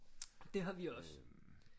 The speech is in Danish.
Det har vi også